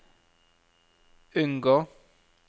unngå